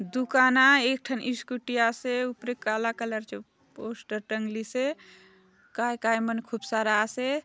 दुकान आय एक ठन स्कूटी आसे ऊपरे काला कलर चो पोस्टर टंगलीसे काय - काय मन खूब सारा आसे।